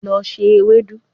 Lọ se ewedu